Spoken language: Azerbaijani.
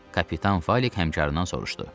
Kapitan Falik həmkarından soruşdu.